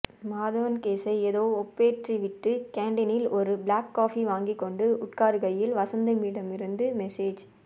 மாதவன் கேஸை ஏதோ ஒப்பேற்றிவிட்டு கேண்டீனில் ஒரு ப்ளாக் காஃபி வாங்கிக்கொண்டு உட்காருகையில் வஸந்திடமிருந்து மெசேஜ்